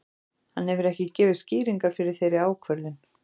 Hann hefur ekki gefið skýringar fyrir þeirri ákvörðun.